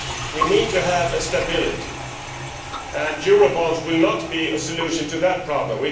We need to have stability, and eurobonds will not be a solution to that problem.